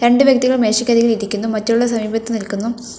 രണ്ട് വ്യക്തികൾ മേശക്കരികിൽ ഇരിക്കുന്നു മറ്റുള്ള സമീപത്ത് നിൽക്കുന്നു.